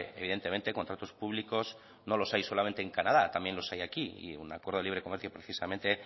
evidentemente contratos públicos no los hay solamente en canadá también los hay aquí y un acuerdo de libre comercio precisamente